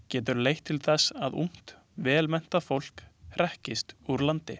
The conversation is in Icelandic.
Getur leitt til þess að ungt vel menntað fólk hrekist úr landi.